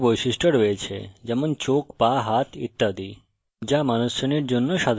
আমাদের সকলের বিভিন্ন বৈশিষ্ট্য রয়েছে যেমন চোখ পা হাত ইত্যাদি